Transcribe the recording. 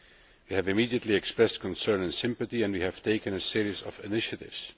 We have immediately expressed concern and sympathy and we have taken a series of initiatives.